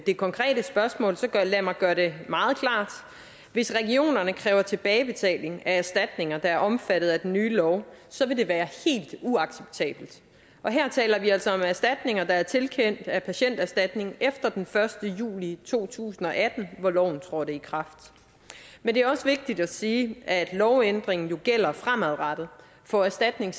det konkrete spørgsmål så lad mig gøre det meget klart hvis regionerne kræver tilbagebetaling af erstatninger der er omfattet af den nye lov så vil det være helt uacceptabelt her taler vi altså om erstatninger der er tilkendt af patienterstatningen efter den første juli to tusind og atten hvor loven trådte i kraft men det er også vigtigt at sige at lovændringen jo gælder fremadrettet for erstatninger